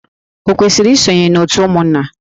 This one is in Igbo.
O kwesiri isonye na òtù ụmụnna?